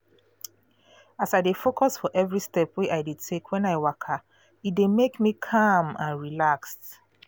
as i dey focus for every step wey i dey take when i waka e dey make me calm and relaxed